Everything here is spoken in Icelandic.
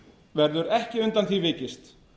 verður ekki undan því vikist